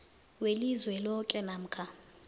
welizwe loke namkha